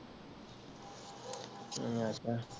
ਕਿ ਆਖਾ